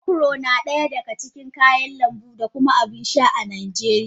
Okro na daya daga cikin kayan lambu da kuma abin sha a Najeriya.